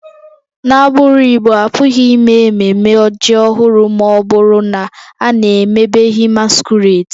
N'agbụrụ Igbo, a pụghị ime ememme ji ọhụrụ ma ọ bụrụ na a na-emebeghị masquerades